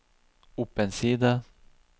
opp en side